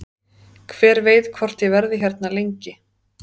Hver veit hvort ég verði hérna lengi?